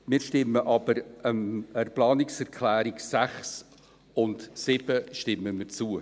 Wir stimmen aber den Planungserklärungen 6 und 7 zu.